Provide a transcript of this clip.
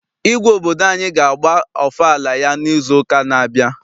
Igwe obodo anyị ga agba ọfala ya n'izu ụka n'abia.